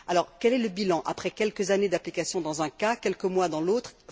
Quel est le bilan après quelques années d'application dans un cas, quelques mois dans l'autre?